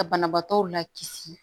Ka banabaatɔw lakisi